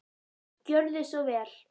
Gjörðu svo vel.